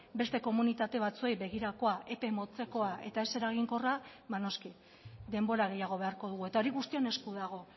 beste komunitate batzuei begirakoa epe motzekoa eta ez eraginkorra ba noski denbora gehiago beharko dugu eta hori guztion esku dago